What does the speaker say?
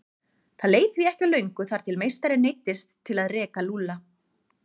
Það leið því ekki á löngu þar til meistarinn neyddist til að reka Lúlla.